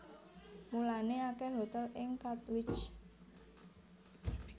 Mulané akèh hotèl ing Katwijk